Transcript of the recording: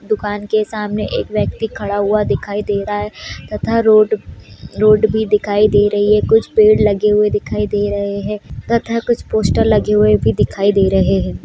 दुकान के सामने एक व्यक्ति खड़ा हुआ दिखाई दे रहा है तथा रोड -रोड भी दिखाई दे रही है कुछ पेड़ लगे हुए दिखाई दे रहे हैं तथा कुछ पोस्टर लगे हुए भी दिखाई दे रहे हैं।